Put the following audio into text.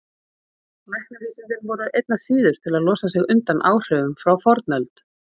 Læknavísindin voru einna síðust til að losa sig undan áhrifum frá fornöld.